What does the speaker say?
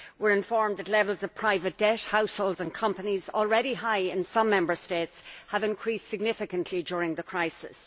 We are informed that levels of private debt among households and companies already high in some Member States have increased significantly during the crisis.